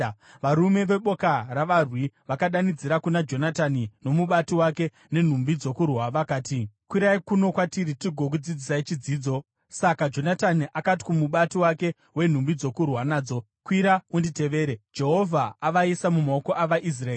Varume veboka ravarwi vakadanidzira kuna Jonatani nomubati wake nenhumbi dzokurwa vakati, “Kwirai kuno kwatiri tigokudzidzisai chidzidzo.” Saka Jonatani akati kumubati wake wenhumbi dzokurwa nadzo, “Kwira unditevere; Jehovha avaisa mumaoko avaIsraeri.”